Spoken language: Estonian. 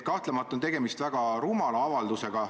Kahtlemata on tegemist väga rumala avaldusega.